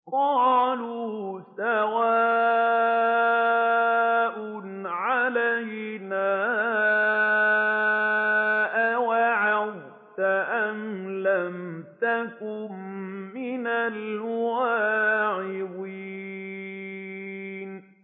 قَالُوا سَوَاءٌ عَلَيْنَا أَوَعَظْتَ أَمْ لَمْ تَكُن مِّنَ الْوَاعِظِينَ